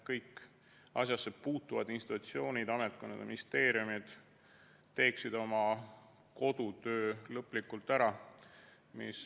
Kõik asjasse puutuvad institutsioonid, ametkonnad, ministeeriumid teeksid oma kodutöö lõplikult ära.